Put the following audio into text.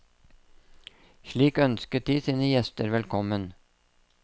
Slik ønsket de sine gjester velkommen.